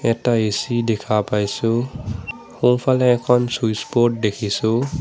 এটা এ_চি দেখা পাইছোঁ সোঁফালে এখন চুইটছবর্ড দেখিছোঁ।